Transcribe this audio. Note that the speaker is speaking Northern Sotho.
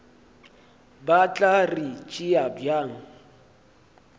ba tla re tšea bjang